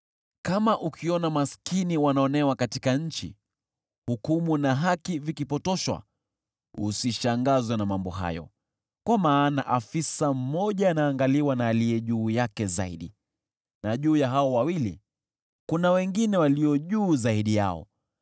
Kama ukiona maskini wanaonewa katika nchi, hukumu na haki vikipotoshwa, usishangazwe na mambo hayo, kwa maana afisa mmoja anaangaliwa na aliye juu yake zaidi na juu ya hao wawili kuna wengine walio juu zaidi yao.